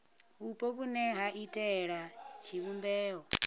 vhupo vhune ha iitela tshivhumbeo